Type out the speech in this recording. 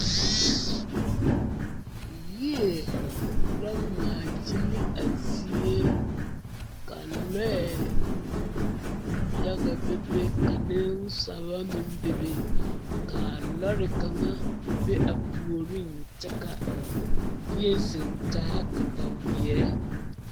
Yie la ŋmaagyili a zie ka lɔɛ yaga bebe ka nensalba meŋ bebe ka lɔre kaŋa be a puoriŋ ka bie zeŋ taa kataweɛ.